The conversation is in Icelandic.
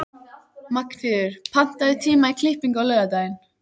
Magnfríður, pantaðu tíma í klippingu á laugardaginn.